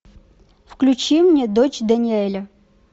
включи мне дочь даниэля